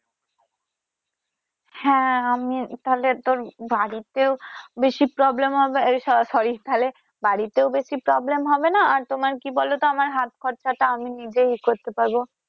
হ্যা আমি তাহলে তোর বাড়িতেও বেশি problem হবে আহ সরি তাহলে বাড়িতেও বেশি problem হবে না আর তোমার কি বলো তো আমার হাত খরচা টা আমি নিজেই করতে পারবো।